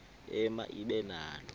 ema ibe nalo